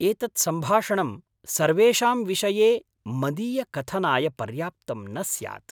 एतत् सम्भाषणं सर्वेषां विषये मदीयकथनाय पर्याप्तं न स्यात्।